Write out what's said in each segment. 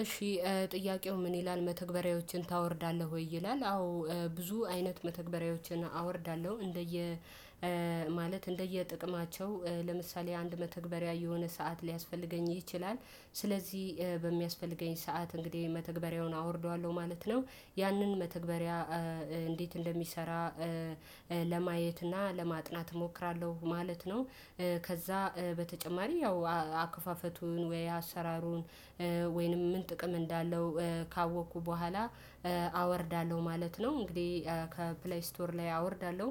እሺ ጥያቄው ምን ይላል መተግበሪያዎችን ታወርዳለህ ወይ ይላል? አዎ ብዙ አይነት መተግበሪያዎችን አወርዳለሁ እንደየ ማለት እንደየጥቅማቸው ለምሳሌ አንድ መተግበሪያ የሆነ ሰዓት ሊያስፈልገኝ ይችላል ስለዚህ በሚያስፈልገኝ ሰዓት እንግዲህ የመተግበሪያውን አወርደዋለሁ ማለት ነው። ያንን መተግበሪያ እንዴት እንደሚሰራ ለማየት እና ለማጥናት እሞክራለሁ ማለት ነው። ከዛ በተጨማሪ ያው አክፋፈቱን ወይ አሰራሩን ወይንም ምን ጥቅም እንዳለው ካወቅኩ በኋላ አወርዳለሁ ማለት ነው። እንግዲህ ከፕሌይ ስቶር ላይ አወርዳለሁ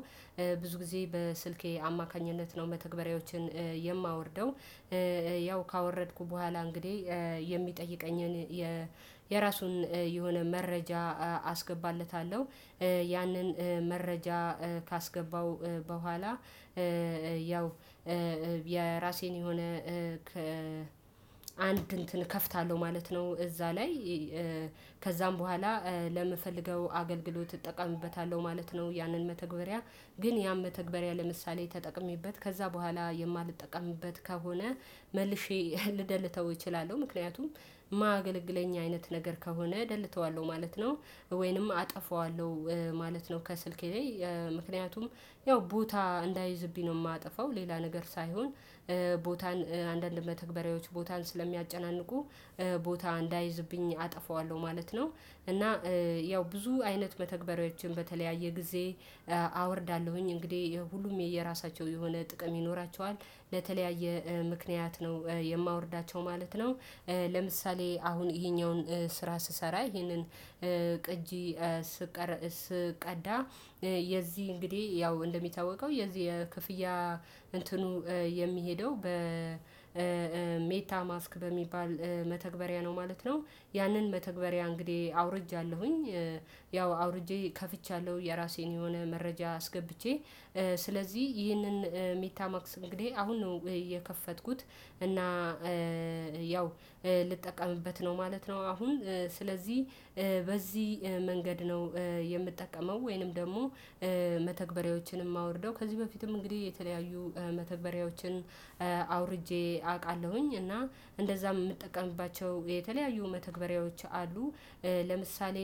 ብዙ ጊዜ በስልኬ አማካኝነት ነው መተግበሪያዎችን የማወርደው። ያው ካወረድኩ በኋላ እንግዲህ የሚጠይቀኝን የራሱን የሆነ መረጃ አስገባለታለሁ ያንን መረጃ ካስገባው በኋላ ያው የራሴን የሆነ አንድ እንትን እከፍታለሁ ማለት ነው። እዛ ላይ ከዛም በኋላ ለምፈልገው አገልግሎት እጠቀምበታለሁ ማለት ነው። ያንን መተግበሪያ ግን ያን መተግበሪያ ለምሳሌ ተጠቅሜበት ከዛ በኋላ የማልጠቀምበት ከሆነ መልሼ ልደልተው እችላለሁ። ምክንያቱም እማያገለግለኝ አይነት ነገር ከሆነ እደልተዋለሁ ማለት ነው። ወይንም አጠፋዋለሁ ማለት ነው። ከስልክ ላይ ምክንያቱም ያው ቦታ እንዳይዝብኝ ነው የማጠፋው ሌላ ነገር ሳይሆን ቦታን አንዳንድ መተግበሪያዎች ቦታን ስለሚያጨናንቁ ቦታ እንዳይዝብኝ አጠፋዋለሁ ማለት ነው። እና ያው ብዙ አይነት መተግበሪያዎችን በተለያየ ጊዜ አወርዳለሁኝ እንግዲህ ያው ሁሉም የየራሳቸው የሆነ ጥቅም ይኖራቸዋል በተለያየ ምክንያት ነው የማወርዳቸው ማለት ነው። ለምሳሌ አሁን ይሄኛውን ስራ ስሰራ ይሄንን ቅጂ ስቀር ስቀዳ የዚህ እንግዲህ ያው እንደሚታወቀው የዚህ የክፍያ እንትኑ የሚሄደው በሜታ ማስክ በሚባል መተግበሪያ ነው ማለት ነው። ያንን መተግበሪያ እንግዲህ አውርጃለሁኝ ያው አውርጄ ከፍቻለሁ የራሴን የሆነ መረጃ አስገብቼ ስለዚህ ይህንን ሜታምማክስ እንግዲህ አሁን ነው የከፈትኩት እና ያው ልጠቀምበት ነው ማለት ነው። አሁን ስለዚህ በዚህ መንገድ ነው የምጠቀመው ወይንም ደግሞ መተግበሪያዎችንም እማወርደው ከዚህ በፊትም እንግዲህ የተለያዩ መተግበሪያዎችን አውርጄ አቃለሁኝ እና እንደዛም የምጠቀምባቸው የተለያዩ መተግበሪያዎች አሉ። ለምሳሌ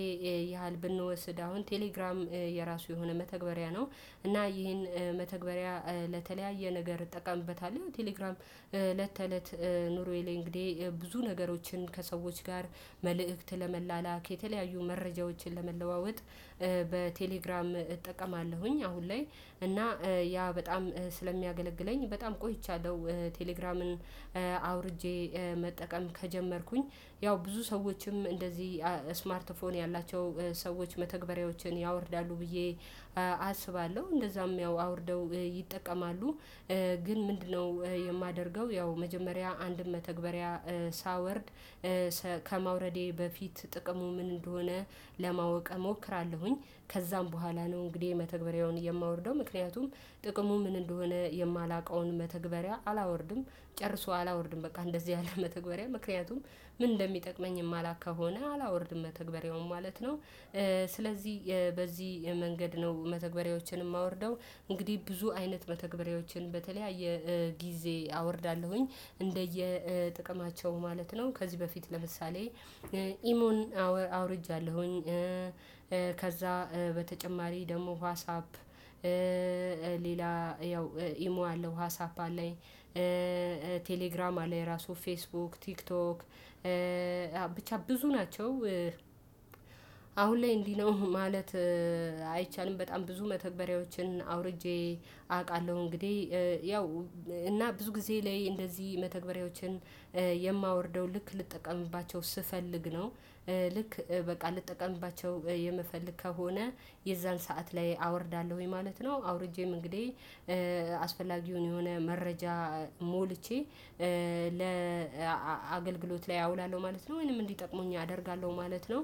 ያህል ብንወስድ አሁን ቴሌግራም የራሱ የሆነ መተግበሪያ ነው። እና ይሄን መተግበሪያ ለተለያየ ነገር እጠቀምበታለሁ ቴሌግራም እለት ተእለት ኑሮዬ ላይ እንግዲህ ብዙ ነገሮችን ከሰዎች ጋር መልእክት ለመላላክ የተለያዩ መረጃዎችን ለመለዋወጥ በቴሌግራም እጠቀማለሁኝ። አሁን ላይ እና ያ በጣም ስለሚያገለግለኝ በጣም ቆይቻለሁ ቴሌግራምን አውርጄ መጠቀም ከጀመርኩኝ ያው ብዙ ሰዎችም እንደዚህ ስማርት ፎን ያላቸው ሰዎች መተግበሪያዎችን ያወርዳሉ ብዬ አስባለሁ እንደዛም ያው አውርደው ይጠቀማሉ። ግን ምንድነው? የማደርገው ያው መጀመሪያ አንድን መተግበሪያ ሳወርድ ከማውረዴ በፊት ጥቅሙ ምን እንደሆነ ለማወቅ እሞክራለሁኝ። ከዛም በኋላ ነው እንግዲህ መተግበሪያውን የማወርደው ምክንያቱም ጥቅሙ ምን እንደሆነ የማላውቀውን መተግበሪያ አላወርድም። ጨርሶ አላወርድም በቃ እንደዚህ ያለ መተግበሪያ ምክንያቱም ምን እንደሚጠቅመኝ የማላውቅ ከሆነ አላወርድም መተግበሪያውን ማለት ነው። ስለዚህ በዚህ መንገድ ነው መተግበሪያዎችን የማወርደው። እንግዲህ ብዙ አይነት መተግበሪያዎችን በተለያየ ጊዜ አወርዳለሁኝ እንደየ ጥቅማቸው ማለት ነው። ከዚህ በፊት ለምሳሌ ኢሞን አውርጃለሁኝ። ከዛ በተጨማሪ ደግሞ ዋሳፕ ሌላ ያው ኢሞ አለው ዋሳፕ አለኝ። ቴሌግራም አለኝ ራሱ ፌስቡክ ቲክቶክ ብቻ ብዙ ናቸው። አሁን ላይ እንዲህ ነው ማለት አይቻልም በጣም ብዙ መተግበሪያዎችን አውርጄ አቃለሁ። እንግዲህ ያው እና ብዙ ጊዜ ላይ እንደዚህ መተግበሪያዎችን የማወርደው ልክ ልጠቀምባቸው ስፈልግ ነው። ልክ በቃ ልጠቀምባቸው የምፈልግ ከሆነ የዛን ሰዓት ላይ አወርዳለሁኝ ማለት ነው። አውርጄም እንግዲህ አስፈላጊውን የሆነ መረጃ ሞልቼ ለ አገልግሎት ላይ አውላለሁ ማለት ነው። ወይንም እንዲጠቅሙኝ አደርጋለሁ ማለት ነው።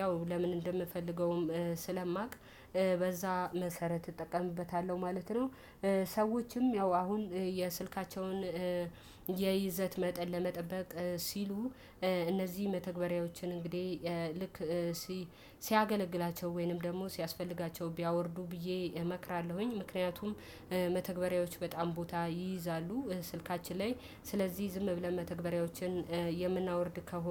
ያው ለምን እንደምፈልገውም ስለማውቅ በዛ መሰረት እጠቀምበታለሁ ማለት ነው። ሰዎችም ያው አሁን የስልካቸውን የይዘት መጠን ለመጠበቅ ሲሉ እነዚህ መተግበሪያዎችን እንግዲህ ልክ ሲያገለግላቸው ወይንም ደግሞ ሲያስፈልጋቸው ቢያወርዱ ብዬ እመክራለሁኝ። ምክንያቱም መተግበሪያዎች በጣም ቦታ ይይዛሉ። ስልካችን ላይ ስለዚህ ዝም ብለን መተግበሪያዎችን የምናወርድ ከሆነ